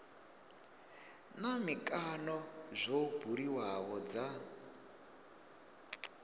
na mikano zwo buliwaho dza